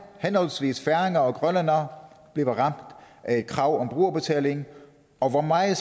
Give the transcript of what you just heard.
henholdsvis færinger og grønlændere bliver ramt af et krav om brugerbetaling og hvor meget